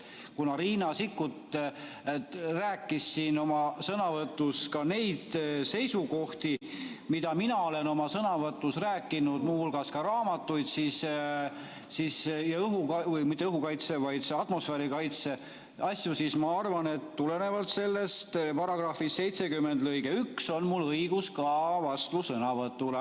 Kuna Riina Sikkut esitas siin oma sõnavõtus ka neid seisukohti, mida mina olen oma sõnavõtus rääkinud, rääkides muu hulgas raamatutest ja atmosfäärikaitse asjadest, siis ma arvan, et tulenevalt § 70 lõikest 1 on mul õigus vastusõnavõtule.